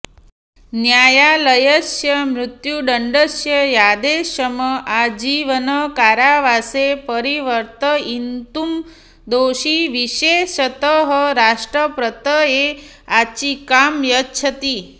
न्यायालयस्य मृत्युदण्डस्य आदेशम् आजीवनकारावासे परिवर्तयितुं दोषी विशेषतः राष्ट्रपतये याचिकां यच्छति